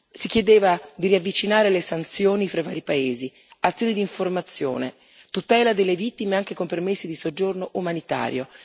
Si chiedeva di ravvicinare le sanzioni fra i vari paesi, oltre ad azioni di informazione e tutela delle vittime anche con permessi di soggiorno umanitario.